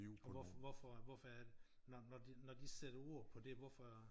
Og hvorfor hvorfor er det når de sætter ord på det hvorfor